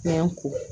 Fɛn ko